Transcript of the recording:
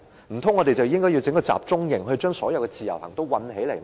難道我們應該設立一個集中營，將所有自由行旅客困起來嗎？